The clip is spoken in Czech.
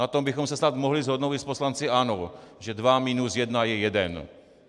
Na tom bychom se snad mohli shodnout i s poslanci ANO, že dva minus jedna je jeden.